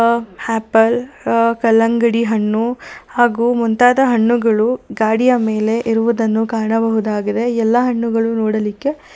ಆ ಆಪಲ್ ಆ ಕಲಂಗಡಿ ಹಣ್ಣು ಹಾಗು ಮುಂತಾದ ಹಣ್ಣುಗಳು ಗಾಡಿಯ ಮೇಲೆ ಇರುವುದನ್ನು ಕಾಣಬಹುದಾಗಿದೆ ಎಲ್ಲಾ ಹಣ್ಣುಗಳು ನೋಡಲಿಕ್ಕೆ--